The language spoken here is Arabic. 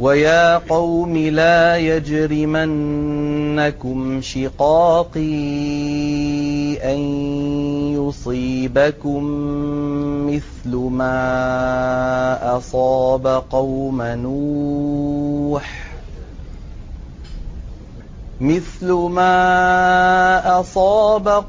وَيَا قَوْمِ لَا يَجْرِمَنَّكُمْ شِقَاقِي أَن يُصِيبَكُم مِّثْلُ مَا أَصَابَ